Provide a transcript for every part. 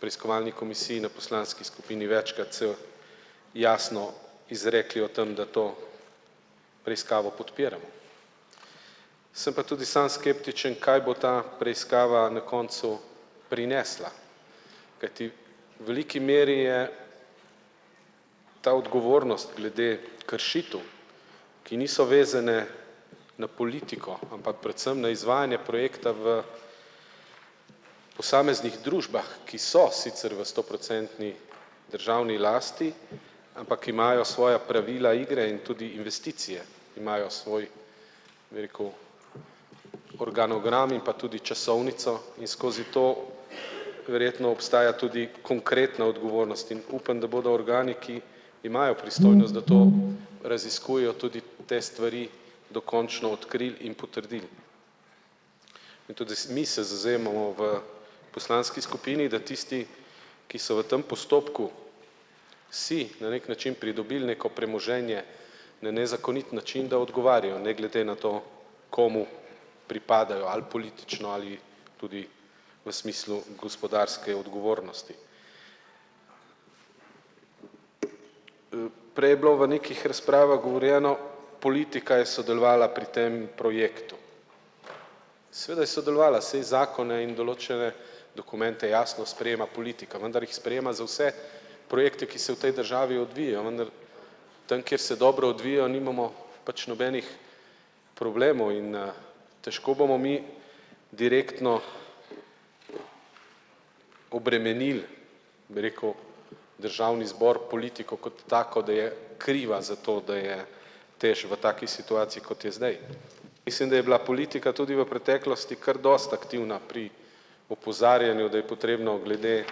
preiskovalni komisiji na poslanski skupini večkrat se jasno izrekli o tem, da to preiskavo podpiramo. Sem pa tudi sam skeptičen, kaj bo ta preiskava na koncu prinesla, kajti veliki meri je ta odgovornost glede kršitev, ki niso vezane na politiko, ampak predvsem na izvajanje projekta v posameznih družbah, ki so sicer v stoprocentni državni lasti, ampak imajo svoja pravila igre in tudi investicije. Imajo svoj, bi rekel, organigram pa tudi časovnico, in skozi to verjetno obstaja tudi konkretna odgovornost in upam, da bodo organi, ki imajo pristojnost, da to raziskujejo, tudi v te stvari dokončno odkrili in potrdili. In tudi mi se zavzemamo v poslanski skupini, da tisti, ki so v tem postopku si na neki način pridobili neko premoženje na nezakonit način, da odgovarjajo ne glede na to, komu pripadajo ali politično ali tudi v smislu gospodarske odgovornosti. Prej je bilo v nekih razpravah govorjeno: politika je sodelovala pri tem projektu. Seveda je sodelovala, saj zakone in določene dokumente jasno sprejema politika, vendar jih sprejema za vse projekte, ki se v tej državi odvijajo, vendar tam, kjer se dobro odvijajo, nimamo pač nobenih problemov in, težko bomo mi direktno obremenili, bi rekel, državni zbor, politiko kot tako, da je kriva za to, da je TEŠ v taki situaciji, kot je zdaj. Mislim, da je bila politika tudi v preteklosti kar dosti aktivna pri opozarjanju, da je potrebno glede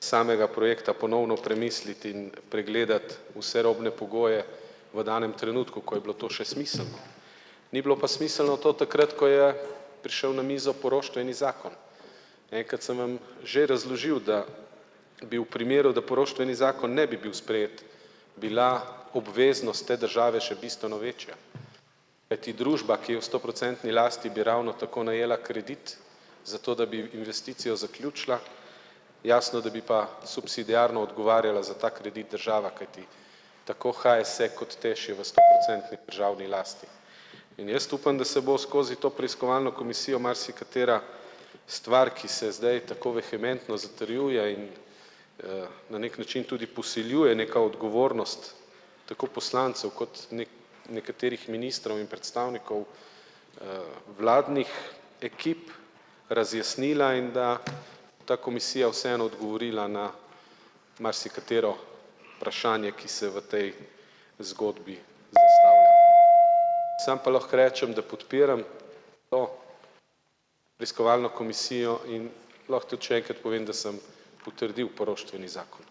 samega projekta ponovno premisliti in pregledati vse robne pogoje v danem trenutku, ko je bilo to še smiselno. Ni bilo pa smiselno to takrat, ko je prišel na mizo poroštveni zakon. Enkrat sem vam že razložil, da bi v primeru, da poroštveni zakon ne bi bil sprejet, bila obveznost te države še bistveno večja. Kajti družba, ki je v stoprocentni lasti bi ravno tako najela kredit, zato da bi investicijo zaključila, jasno, da bi pa subsidiarno odgovarjala za ta kredit država, kajti tako HSE kot TEŠ je v stoprocentni državni lasti. In jaz upam, da se bo skozi to preiskovalno komisijo marsikatera stvar, ki se zdaj tako vehementno zatrjuje in, na neki način tudi posiljuje neka odgovornost tako poslancev kot neki nekaterih ministrov in predstavnikov, vladnih ekip razjasnila in da ta komisija vseeno odgovorila na marsikatero vprašanje, ki se v tej zgodbi. Sam pa lahko rečem, da podpiram o preiskovalno komisijo in lahko tudi še enkrat povem, da sem potrdil poroštveni zakon.